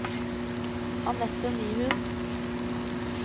Anette Nyhus